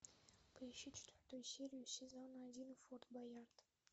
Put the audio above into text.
поищи четвертую серию сезона один форт боярд